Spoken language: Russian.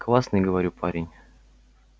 классный говорю парень